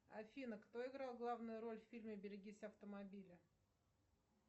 афина кто играл главную роль в фильме берегись автомобиля